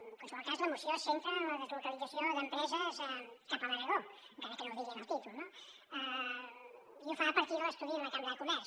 en qualsevol cas la moció es centra en la deslocalització d’empreses cap a l’aragó encara que no ho digui en el títol no i ho fa a partir de l’estudi de la cambra de comerç